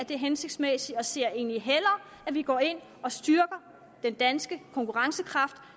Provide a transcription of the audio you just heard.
det er hensigtsmæssigt og ser egentlig hellere at vi går ind og styrker den danske konkurrencekraft